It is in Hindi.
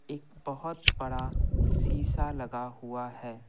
एक बहुत बड़ा शीशा लगा हुआ है।